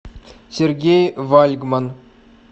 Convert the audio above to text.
сергей вальгман